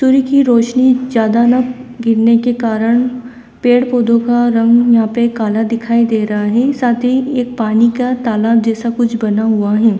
सूर्य की रोशनी ज्यादा न गिरने के कारण पेड़ पौधों का रंग यहां पे काला दिखाई दे रहा है साथ ही एक पानी का तालाब जैसा कुछ बना हुआ है।